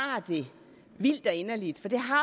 sig vildt og inderligt for det har